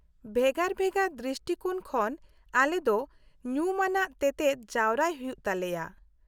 -ᱵᱷᱮᱜᱟᱨ ᱵᱷᱮᱜᱟᱨ ᱫᱨᱤᱥᱴᱤᱠᱳᱱ ᱠᱷᱚᱱ ᱟᱞᱮ ᱫᱚ ᱧᱩᱢᱟᱱᱟᱜ ᱛᱮᱛᱮᱫ ᱡᱟᱨᱣᱟᱭ ᱦᱩᱭᱩᱜ ᱛᱟᱞᱮᱭᱟ ᱾